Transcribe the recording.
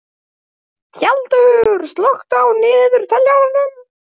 Tjaldur, slökktu á niðurteljaranum.